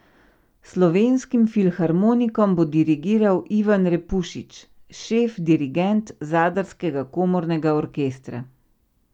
Slovenskim filharmonikom bo dirigiral Ivan Repušić, šef dirigent Zadarskega komornega orkestra.